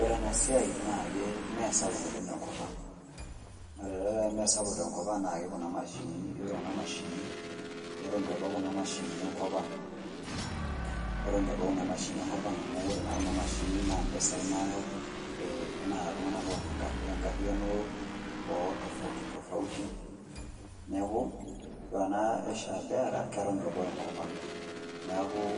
Ore enasiai naakee meesapuk oleng' tenkopang', ore tata peemesapuk tenkopang' nake kuna mashinini, ore kuna mashinini ketoneitu ebau kina mashinini enkopang'. Etoneitu ebau kuna mashinini enkopang' amu ore naa kuna mashinini naa mpesai nayaau ee naa iltung'ana loata enkarriyano ootofautitofauti. Neaku ore ena Asia Bearer ketoneitu ebau enkopang' neakuu